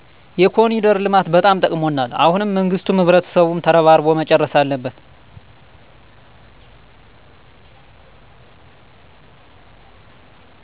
የኮኒደር ልማት በጣም ጠቅሞናል። አሁንም መንግስቱም ህብረተሰቡም ተረባርቦ መጨረስ አለበት